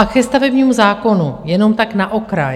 A ke stavebnímu zákonu, jenom tak na okraj.